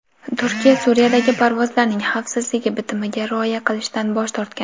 Turkiya Suriyadagi parvozlarning xavfsizligi bitimiga rioya qilishdan bosh tortgan.